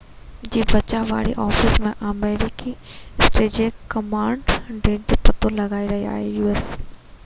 u.s. جي بچاءُ وري آفيس جي آمريڪي اسٽريٽجڪ ڪمانڊ ڍير جو پتو لڳائي رهي آهي